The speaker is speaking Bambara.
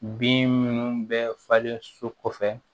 Bin minnu bɛ falen so kɔfɛ